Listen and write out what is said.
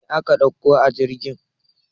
Mai aka ɗauko a jirgin?